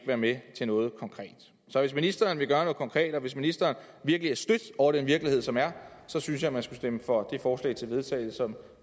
være med til noget konkret så hvis ministeren vil gøre noget konkret og hvis ministeren virkelig er stødt over den virkelighed som er der synes jeg man skulle stemme for det forslag til vedtagelse som